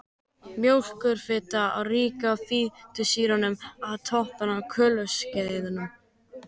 Mjólkurfita er rík af fitusýrum með stutta kolefniskeðju.